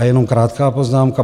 A jenom krátká poznámka.